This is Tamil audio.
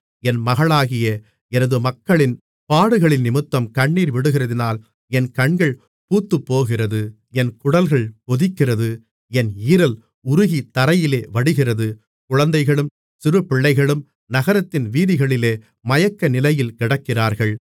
என் மகளாகிய எனது மக்களின் பாடுகளினிமித்தம் கண்ணீர் விடுகிறதினால் என் கண்கள் பூத்துப்போகிறது என் குடல்கள் கொதிக்கிறது என் ஈரல் உருகி தரையிலே வடிகிறது குழந்தைகளும் சிறுபிள்ளைகளும் நகரத்தின் வீதிகளிலே மயக்கநிலையில் கிடக்கிறார்கள்